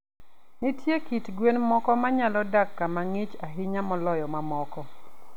Nitie kit gwen moko ma nyalo dak kama ng'ich ahinya moloyo mamoko.